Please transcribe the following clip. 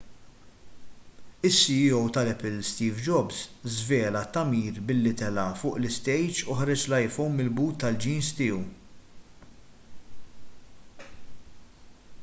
is-ceo tal-apple steve jobs żvela t-tagħmir billi tela' fuq l-istejġ u ħareġ l-iphone mill-but tal-jeans tiegħu